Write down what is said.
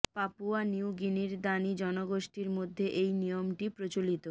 Papua নিউ গিনির Dani জনগোষ্ঠীর মধ্যে এই নিয়মটি প্রচলিত